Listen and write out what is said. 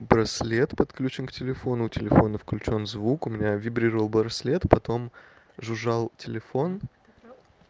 браслет подключён к телефону у телефона включён звук у меня вибрировал браслет потом жужжал телефон